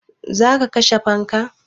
Za ka kashe fanka?